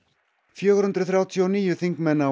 fjögur hundruð þrjátíu og níu þingmenn á